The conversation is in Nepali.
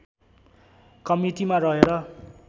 कमिटीमा रहेर